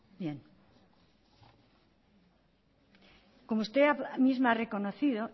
como usted misma ha reconocido